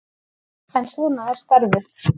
En svona er starfið.